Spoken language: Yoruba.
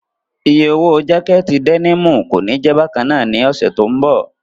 Oye owó jákẹ̀tì dẹ́nìmù kòní jẹ̀ bákannáà ní ọ̀sẹ̀ tó ń bọ̀.